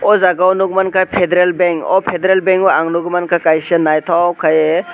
o jaga o nogoimangkha federal Bank o federal Bank o ang nog mangkha kaisa naitok kai ye.